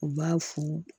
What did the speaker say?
U b'a fo